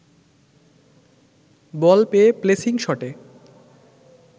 বল পেয়ে প্লেসিং শটে